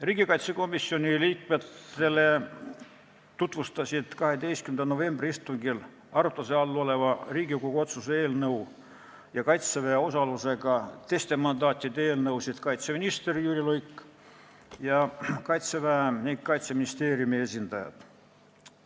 Riigikaitsekomisjoni liikmetele tutvustasid 12. novembri istungil arutluse all olevat Riigikogu otsuse eelnõu ja Kaitseväe osalusega teiste mandaatide eelnõusid kaitseminister Jüri Luik ning Kaitseväe ja Kaitseministeeriumi esindajad.